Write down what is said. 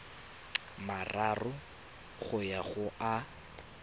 mararo go ya go a